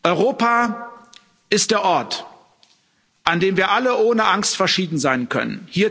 Europa ist der Ort, an dem wir alle ohne Angst verschieden sein können.